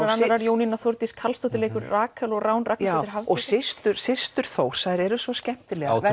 Jónína Þórdís Karlsdóttir leikur Rakel systur systur Þórs eru svo skemmtilegar